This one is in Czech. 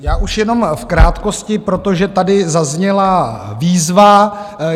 Já už jenom v krátkosti, protože tady zazněla výzva.